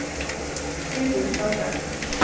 Hildur Førde